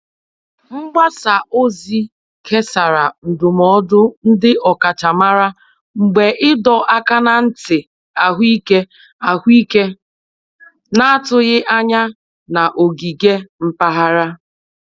Mgbasa ozi kesara ndụmọdụ ndị ọkachamara mgbe ịdọ aka na ntị ahụike ahụike na-atụghị anya na ogige mpaghara.